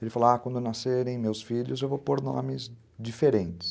Ele falou, ah, quando nascerem meus filhos eu vou pôr nomes diferentes.